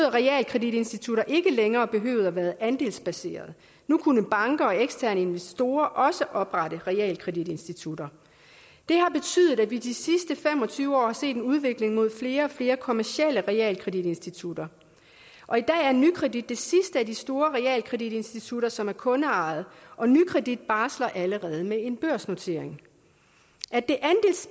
at realkreditinstitutter ikke længere behøvede at være andelsbaserede nu kunne banker og eksterne investorer også oprette realkreditinstitutter det har betydet at vi i de sidste fem og tyve år har set en udvikling mod flere og flere kommercielle realkreditinstitutter og i dag er nykredit det sidste af de store realkreditinstitutter som er kundeejet og nykredit barsler allerede med en børsnotering